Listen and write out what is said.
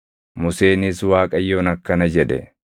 Museenis Waaqayyoon akkana jedhe;